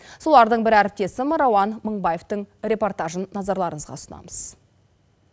солардың бірі әріптесім рауан мынбаевтың репортажын назарларыңызға ұсынамыз